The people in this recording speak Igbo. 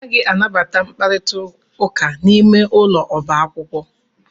Anaghị anabata mkparita ụka n'ime ụlọ ọba akwụkwọ.